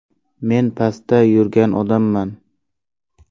Men pastda yurgan odamman.